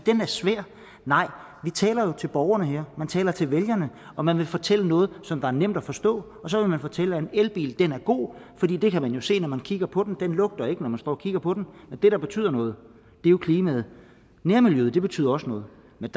er svær nej man taler jo til borgerne her man taler til vælgerne og man vil fortælle noget som er nemt at forstå så man vil fortælle at en elbil er god for det det kan man jo se når man kigger på den det lugter ikke når man står og kigger på den men det der betyder noget er jo klimaet nærmiljøet betyder også noget men